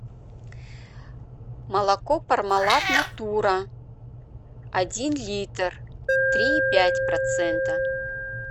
молоко пармалат натура один литр три и пять процента